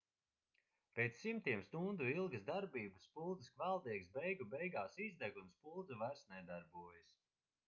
pēc simtiem stundu ilgas darbības spuldzes kvēldiegs beigu beigās izdeg un spuldze vairs nedarbojas